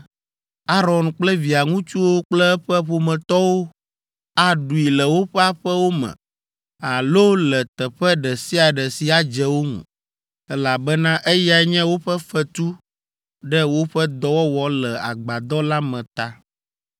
Aron kple via ŋutsuwo kple eƒe ƒometɔwo aɖui le woƒe aƒewo me alo le teƒe ɖe sia ɖe si adze wo ŋu, elabena eyae nye woƒe fetu ɖe woƒe dɔwɔwɔ le agbadɔ la me ta.